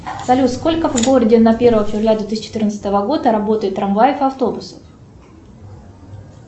салют сколько в городе на первое февраля две тысячи четырнадцатого года работает трамваев и автобусов